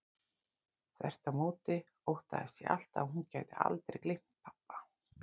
Þvert á móti óttaðist ég alltaf að hún gæti aldrei gleymt pabba.